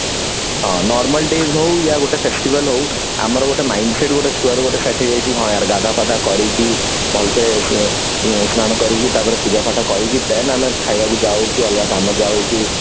ହଁ normal days ହଉ ୟା ଗୋଟେ festival ହଉ ଆମର ଗୋଟେ mindset ଗୋଟେ ଛୁଆବେଳୁ ଗୋଟେ ସୃଷ୍ଟି ହେଇଯାଇଛି ହଁ ୟାର ଗାଧୁଆ ପାଧୁଆ କରିକି ଭଲ ସେ ସ୍ନାନ କରିକି ତାପରେ ପୂଜା ପାଠ କରିକି then ଆମେ ଖାଇବାକୁ ଯାଉ କି ଅଲଗା କାମ ଯାଉ